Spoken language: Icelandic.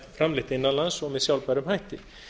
framleitt innan lands og með sjálfbærum hætti